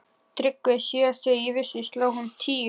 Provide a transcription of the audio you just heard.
TRYGGVI: Síðast þegar ég vissi sló hún tíu.